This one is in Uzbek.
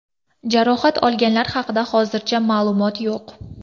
Jarohat olganlar haqida hozircha ma’lumot yo‘q.